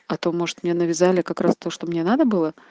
а то может мне навязали как раз то что мне надо было